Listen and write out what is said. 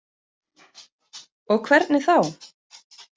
Og hvernig þá?